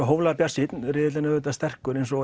hóflega bjartsýnn riðillinn er auðvitað sterkur eins og